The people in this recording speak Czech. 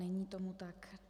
Není tomu tak.